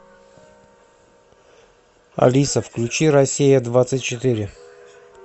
алиса включи россия двадцать четыре